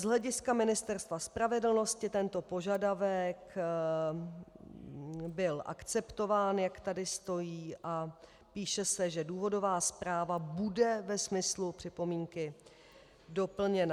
Z hlediska Ministerstva spravedlnosti tento požadavek byl akceptován, jak tady stojí, a píše se, že důvodová zpráva bude ve smyslu připomínky doplněna.